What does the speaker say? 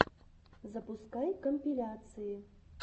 запускай компиляции